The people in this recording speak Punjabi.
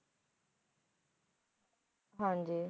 ਹਾਂ ਜੀ